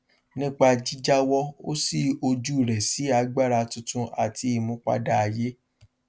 nípa jíjáwọ ó ṣí ojú rẹ sí agbára tuntun àti ìmúpadà ayé